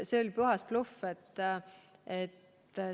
See oli puhas bluff!